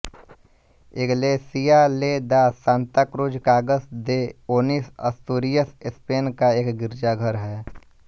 Iglesia de la Santa Cruz Cangas de Onis Asturias Spain का एक गिरजाघर है